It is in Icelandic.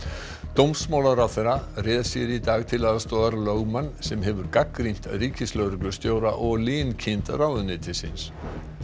dómsmálaráðherra réð sér í dag til aðstoðar lögmann sem hefur gagnrýnt ríkislögreglustjóra og linkind ráðuneytisins